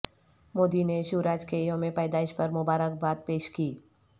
مودی نے شیوراج کے یوم پیدائش پر مبارک باد پیش کی